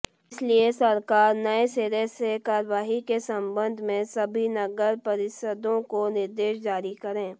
इसलिए सरकार नए सिरे से कार्रवाई के संबंध में सभी नगरपरिषदों को निर्देश जारी करें